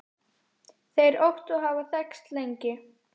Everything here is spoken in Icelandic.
Þeir Ottó hafa þekkst lengi.